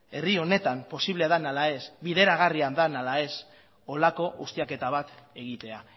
herri honetan posible den ala ez bideragarria den ala ez horrelako ustiaketa bat egitea